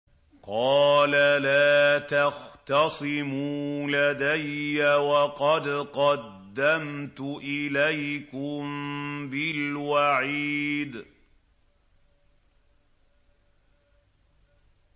قَالَ لَا تَخْتَصِمُوا لَدَيَّ وَقَدْ قَدَّمْتُ إِلَيْكُم بِالْوَعِيدِ